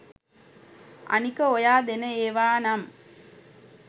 අනික ඔයා දෙන ඒවා නම්